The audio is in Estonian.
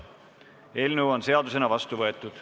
Eelnõu on seadusena vastu võetud.